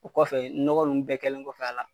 O kɔfɛ ɲɔgɔ nunnu bɛɛ kɛlen kɔfɛ a la